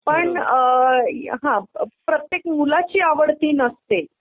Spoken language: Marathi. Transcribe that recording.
पण अ अ अ हं प्रत्येक मुलाची आवड ती नसते.